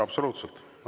Absoluutselt!